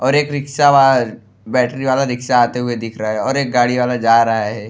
और एक रिक्शा वहां बैटरी वाला रिक्शा आते हुए दिख रहा है और एक गाड़ी वाला जा रहा है।